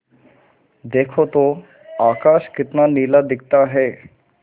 देखो तो आकाश कितना नीला दिखता है